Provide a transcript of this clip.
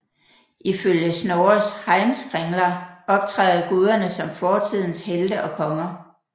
Ifølge Snorres Heimskringla optræder guderne som fortidens helte og konger